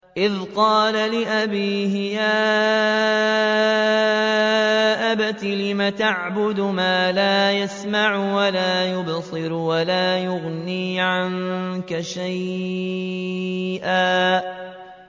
إِذْ قَالَ لِأَبِيهِ يَا أَبَتِ لِمَ تَعْبُدُ مَا لَا يَسْمَعُ وَلَا يُبْصِرُ وَلَا يُغْنِي عَنكَ شَيْئًا